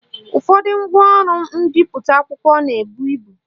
Ụfọdụ ngwaọrụ mbipụta akwụkwọ na-ebu ibu